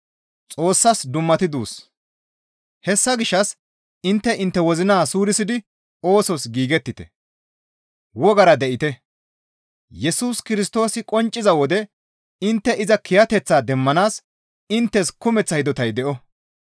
Hessa gishshas intte intte wozina suurisidi oosos giigettite; wogara de7ite. Yesus Kirstoosi qoncciza wode intte iza kiyateththaa demmanaas inttes kumeththa hidotay de7o.